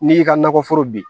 N'i y'i ka nakɔforo bin